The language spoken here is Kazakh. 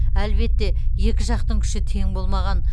әлбетте екі жақтың күші тең болмаған